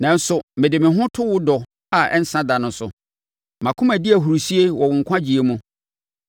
Nanso mede me ho to wo dɔ a ɛnsa da no so; mʼakoma di ahurisie wɔ wo nkwagyeɛ mu.